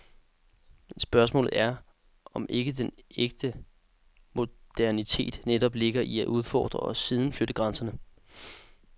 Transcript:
Men spørgsmålet er, om ikke den ægte modernitet netop ligger i at udfordre og siden flytte grænserne.